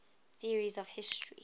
theories of history